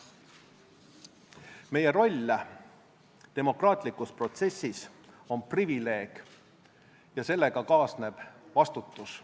Meie roll demokraatlikus protsessis on privileeg ja sellega kaasneb vastutus.